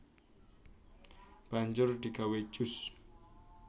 Banjur digawé jus